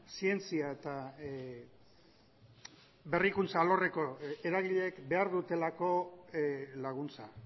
zientzia eta berrikuntza alorreko eragileek behar dutelako laguntza